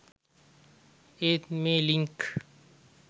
ඒත් මේ ලින්ක්